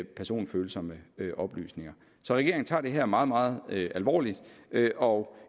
personfølsomme oplysninger så regeringen tager det her meget meget alvorligt og